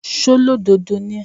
ṣólódodo ni ẹ́?